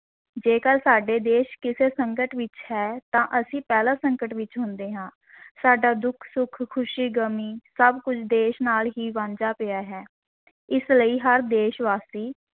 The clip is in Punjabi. ਜੇਕਰ ਸਾਡੇ ਦੇਸ਼ ਕਿਸੇ ਸੰਕਟ ਵਿਚ ਹੈ, ਤਾਂ ਅਸੀਂ ਪਹਿਲਾਂ ਸੰਕਟ ਵਿਚ ਹੁੰਦੇ ਹਾਂ ਸਾਡਾ ਦੁੱਖ-ਸੁੱਖ, ਖ਼ੁਸ਼ੀ, ਗ਼ਮੀ ਸਭ ਕੁੱਝ ਦੇਸ਼ ਨਾਲ ਹੀ ਵਾਂਝਾ ਪਿਆ ਹੈ ਇਸ ਲਈ ਹਰ ਦੇਸ਼-ਵਾਸੀ